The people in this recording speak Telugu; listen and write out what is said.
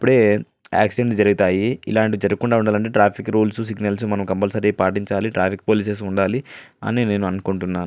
ఇప్పుడే ఆక్సిడెంట్స్ జరుగుతాయి. ఇలాంటివి జరగ కుండా ఉండాలంటే ట్రాఫిక్ రూల్స్ సిగ్నల్స్ మనం కచ్చితంగా పాటించాలి. ట్రాఫిక్ పోలీసులు ఉండాలి అని నేనైతే అనుకుంటున్నాను.